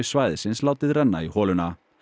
svæðisins látið renna í holuna